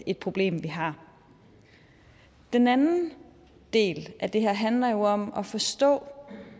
et problem vi har den anden del af det her handler jo om at forstå